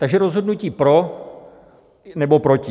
Takže rozhodnutí pro nebo proti.